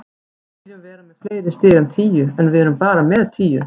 Við viljum vera með fleiri stig en tíu, en við erum bara með tíu.